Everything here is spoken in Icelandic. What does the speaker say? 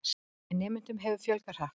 En nemendum hefur fjölgað hratt.